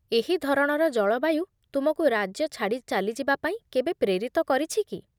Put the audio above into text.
ଏହି ଧରଣର ଜଳବାୟୁ ତୁମକୁ ରାଜ୍ୟ ଛାଡ଼ି ଚାଲିଯିବା ପାଇଁ କେବେ ପ୍ରେରିତ କରିଛି କି?